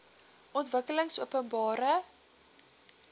ontwikkelingopenbare